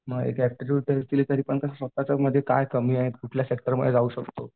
मग एक aptitude test दिली तरीपण कसं स्वतःच्या मध्ये काय कमी आहे कुठल्या सेक्टरमध्ये जाऊ शकतो.